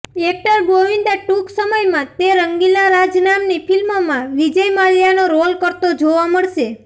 actor Govinda ટુંક સમયમાં તે રંગીલા રાજ નામની ફિલ્મમાં વિજય માલ્યાનો રોલ કરતો જોવા મળશે